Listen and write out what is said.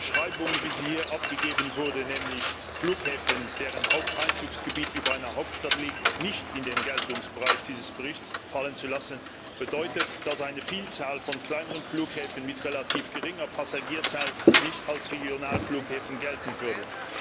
Die Beschreibung, wie sie hier abgegeben wurde, nämlich Flughäfen, deren Haupteinzugsgebiet über einer Hauptstadt liegt, nicht in den Geltungsbereich dieses Berichts fallen zu lassen, bedeutet, dass eine Vielzahl von kleineren Flughäfen mit relativ geringer Passagierzahl nicht als Regionalflughäfen gelten würde.